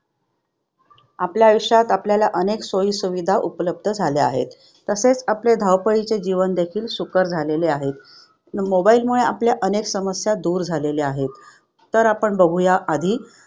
आपल्या आयुष्यात आपल्याला अनेक सोयीसुविधा उपलब्ध झाल्या आहेत. तसेच आपले धावपळीचे जीवन देखील सुकर झालेले आहे. Mobile मुळे आपल्या अनेक समस्या दूर झालेल्या आहेत. तर आपण बघूया आधी